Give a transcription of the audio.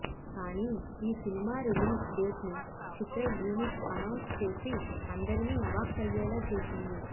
కానీ ఈ cinema release డేట్ను చిత్ర యూనిట్ అనౌన్స్ చేసి అందరినీ అవాక్కయ్యేలా చేసింది